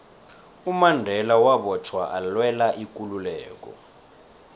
umandela wabotjhwa alwela ikululeko